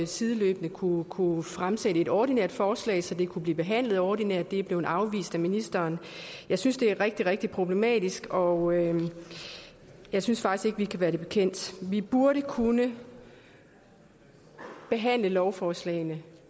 sideløbende kunne kunne fremsættes et ordinært forslag så det kunne blive behandlet ordinært men det er blevet afvist af ministeren jeg synes det er rigtig rigtig problematisk og jeg synes faktisk ikke vi kan være det bekendt vi burde kunne behandle lovforslagene